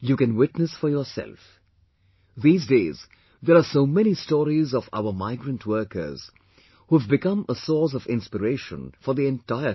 You can witness for yourself these days there are so many stories of our migrant workers who have become a source of inspiriation for the entire country